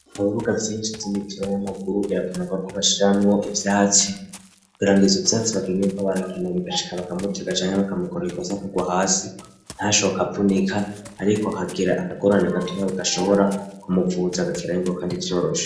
Mu bibuga vyinshi z'ibitiro y'amaguru biravunwa ko bashiramwo ifise hatsi ibirangizo byatsi bakanyuba barakindanigachika bakamuti gacanyi mbakamukoro bikose akaga hasi ntashoka brunica ariko akagira akagorana gatu nab gashobora kumuvuza gakerayingu kandi ivyorosha.